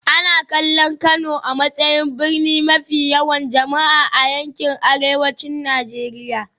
Ana kallon Kano a matsayin birni mafi yawan jama'a a yankin Arewacin Najeriya